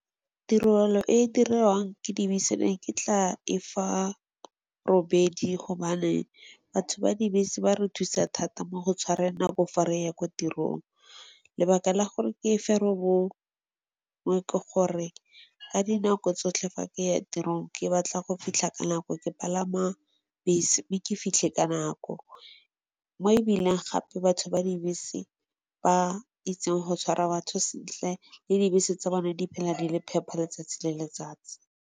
Tirelo e e diriwang ke dibese, ne ke tla e fa robedi gobane batho ba dibese ba re thusa thata mo go tshwareng nako fa re ya kwa tirong. Lebaka la gore ke e fe robongwe ke gore ka dinako tsotlhe fa ke ya tirong, ke batla go fitlha ka nako, ke palama bese mme ke fitlhe ka nako. Mo ebileng gape batho ba dibese ba itseng go tshwara batho sentle le dibese tsa bone di phela di le phepha letsatsi le letsatsi.